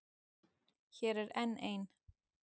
Hér er enn ein.